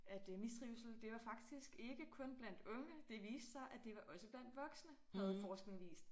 At øh mistrivsel det var faktisk ikke kun blandt unge det viste sig at det var også blandt voksne havde forskning vist